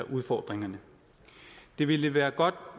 udfordringerne det ville være godt